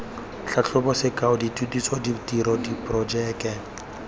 tlhatlhobo sekao dithutiso ditiro diporojeke